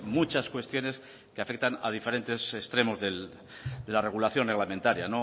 muchas cuestiones que afectan a diferentes extremos de la regulación reglamentaria